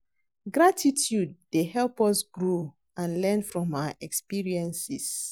Gratitude dey help us grow and learn from our experiences.